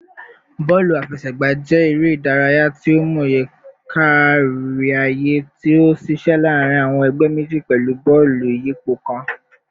Bọọlu afẹsẹgba jẹ ere idaraya ti o mọye kariaye ti o ṣiṣẹ laarin awọn ẹgbẹ meji pẹlu bọọlu iyipo kan